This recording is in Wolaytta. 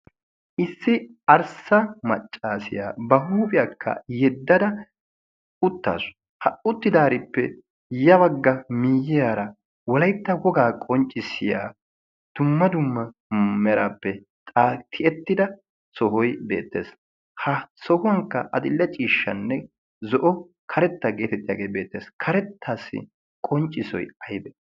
issi arssa maccaasiyaa ba huuphiyaakka yeddada uttaasu ha utti daarippe yabagga miiyyiyaara walaitta wogaa qonccissiya dumma dumma meraappe xaatiyettida sohoi beettees ha sohuwankka axilla ciishshanne zo'o karetta geetettiyaagee beettees. karettaassi qonccissoi aybe?